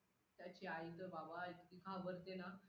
त्याची आई तर बाबा, इतकी घाबरते ना